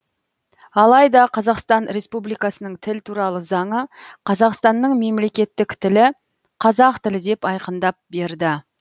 алайда қазақстан республикасы тіл туралы заңы қазақстанның мемлекеттік тілі қазақ тілі деп айқындап берді